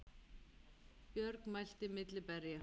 Björg mælti milli berja